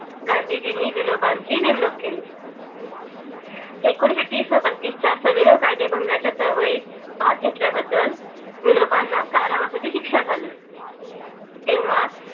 गांधीजी नी विनोबांची नेमणूक केली एकोणीशेतीस व बत्तीस च्या सविनय कायदेभंगाच्या चळवळीत भाग घेतल्या बद्दल विनोबांना कारावासाची शिक्षा झाली तेव्हा